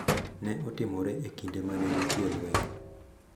Ne otimore e kinde ma ne nitie lweny